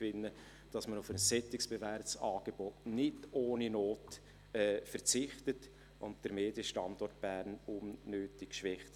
Es geht darum, dass man auf ein solch bewährtes Angebot nicht ohne Not verzichtet und den Medienstandort unnötig schwächt.